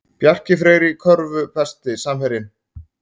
Bjarki Freyr í körfu Besti samherjinn?